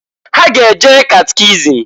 Ha ga-eje catechism.